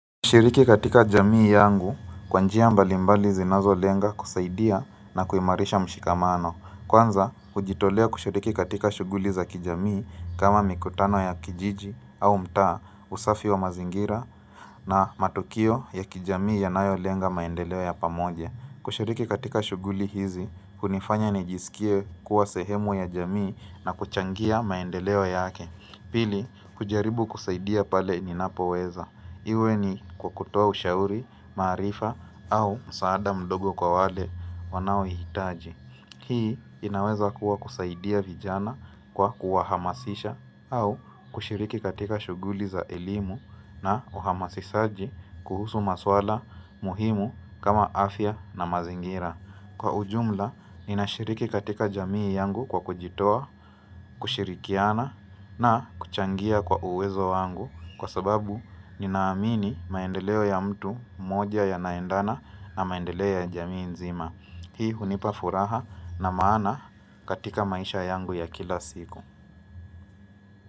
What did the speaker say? Kushiriki katika jamii yangu, kwa njia mbalimbali zinazolenga kusaidia na kuhimarisha mshikamano. Kwanza, kujitolea kushiriki katika shughuli za kijamii kama mikutano ya kijiji au mtaa, usafi wa mazingira na matukio ya kijamii yanayolenga maendeleo ya pamoja. Kushiriki katika shughuli hizi, hunifanya nijisikie kuwa sehemu ya jamii na kuchangia maendeleo yake. Pili, kujaribu kusaidia pale ninapoweza. Iwe ni kwa kutoa ushauri, maarifa au msaada mdogo kwa wale wanaouhitaji. Hii inaweza kuwa kusaidia vijana kwa kuwahamasisha au kushiriki katika shughuli za elimu na uhamasisaji kuhusu maswala muhimu kama afya na mazingira. Kwa ujumla, ninashiriki katika jamii yangu kwa kujitoa, kushirikiana na kuchangia kwa uwezo wangu kwa sababu ninamini maendeleo ya mtu moja yanaendana na maendeleo ya jamii nzima. Hii hunipa furaha na maana katika maisha yangu ya kila siku.